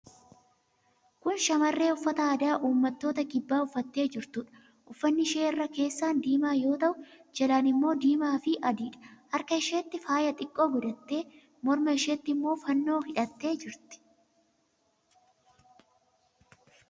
Kun shamarree uffata aadaa uummattoota kibbaa uffattee jirtuudha. Uffatni ishee irra keessaan diimaa yoo ta'u, jalaan immoo diimaafi adiidha. Harka isheetti faayaa xiqqoo godhattee, morma isheetti immoo fannoo hidhattee jirti.